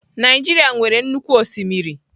Naijiria nwere nnukwu osimiri.